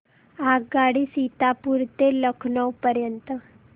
आगगाडी सीतापुर ते लखनौ पर्यंत